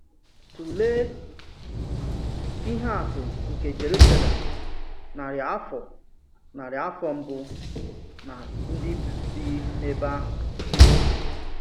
Tụ̀lee ihe atụ nke Jerusalem narị afọ narị afọ mbụ na ndị bi n’èbè ahụ.